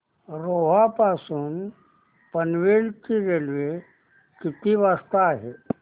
रोहा पासून पनवेल ची रेल्वे किती वाजता आहे